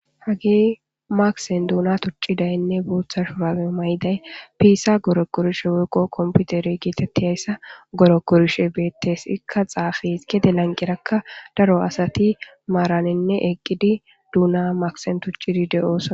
hage makisen duuna tuccidaynne buutha shurage may7day piisa goro korshe wokqo komputeri gietetti hayssa goro korshe beettes ikka xaafi gede lanqirakka daro asati maaraninne eqqidi duuna maksen tuccidi de7oosona